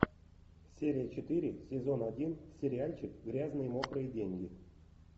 серия четыре сезон один сериальчик грязные мокрые деньги